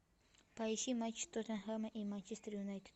поищи матч тоттенхэма и манчестер юнайтед